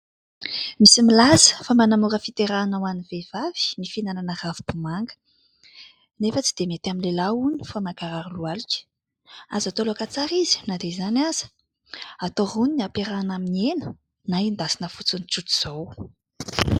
Misy milaza fa manamora fiterahana ho an'ny vehivavy ny fihinanana ravim-bomanga, nefa dia tsy mety amin'ny lehilahy hono fa mankarary lohalika. Azo atao laoka tsara izy na dia izany aza, atao roniny ampiarahana amin'ny hena, na endasina tsotra izao.